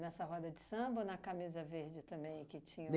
Nessa roda de samba ou na camisa verde também que tinha o?